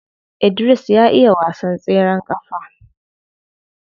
Idris ya iya wasan tseren kafa.